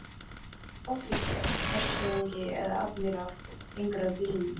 Offísér, hershöfðingi eða aðmíráll gengur að bílnum.